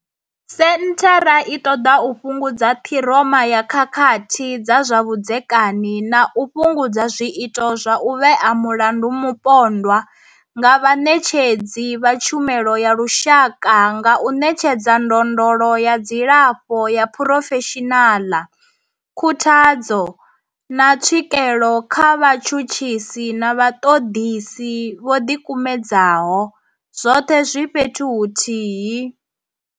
Senthara i ṱoḓa u fhungudza ṱhiroma ya khakhathi dza zwa vhudzekani na u fhungudza zwiito zwa u vhea mulandu mupondwa nga vhaṋetshedzi vha tshumelo ya lushaka nga u ṋetshedza ndondolo ya dzilafho ya phurofeshinala, khuthadzo, na tswikelo kha vhatshutshisi na vhaṱoḓisi vho ḓikumedzaho, zwoṱhe zwi fhethu huthihi.